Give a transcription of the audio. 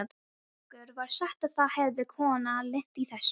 Okkur var sagt að það hefði kona lent í þessu.